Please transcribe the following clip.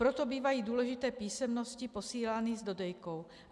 Proto bývají důležité písemnosti posílány s dodejkou.